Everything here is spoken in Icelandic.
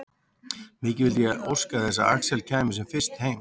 Mikið vildi ég óska þess að Axel kæmi sem fyrst heim.